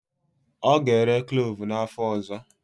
Ọ ga-ere klovu n'afọ ọzọ.